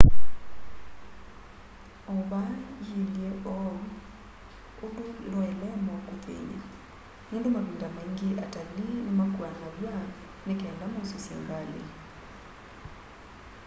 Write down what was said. o va ilye uu undu ndwaile ema ukuthiny'a nundu mavinda maingi atalii nimakuanaw'a nikenda maususye ngali